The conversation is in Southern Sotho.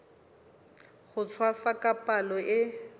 ho tshwasa ka palo e